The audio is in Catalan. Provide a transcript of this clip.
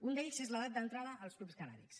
un d’ells és l’edat d’entrada als clubs cannàbics